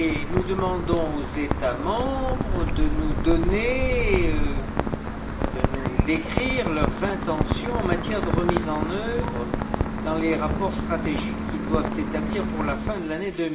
Nous demandons aux États membres de nous décrire leurs intentions en matière de remise en œuvre dans les rapports stratégiques qu'ils doivent établir pour la fin de l'année